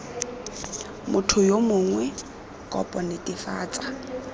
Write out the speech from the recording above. motho yo mongwe kopo netefatsa